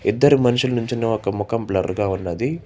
ఇద్దరు మనుషులు నించుని ఒక ముఖం బ్లర్ గా ఉన్నది.